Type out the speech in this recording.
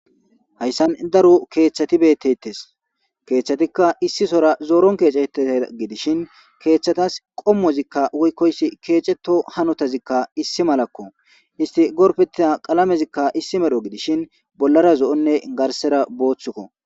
Hayssan daru keeththati bettettes keeththatikka issi sora zooron keecetea gidishin keethtchatas qommozikka woykkoyssi keeceto hanotazikka issi malakko isti gorpetida qalamezikka issi medho gidishin bollara zo'onne garsera booththukko